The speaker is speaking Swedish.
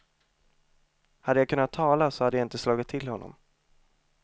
Hade jag kunnat tala så skulle jag inte ha slagit till honom.